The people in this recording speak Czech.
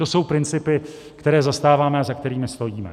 To jsou principy, které zastáváme a za kterými stojíme.